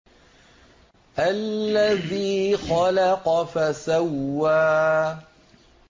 الَّذِي خَلَقَ فَسَوَّىٰ